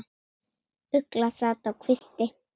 Ugla sat á kvisti.